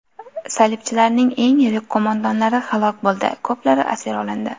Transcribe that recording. Salibchilarning eng yirik qo‘mondonlari halok bo‘ldi, ko‘plari asir olindi.